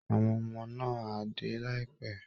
Àwọn ọmọ náà á dé láìpẹ́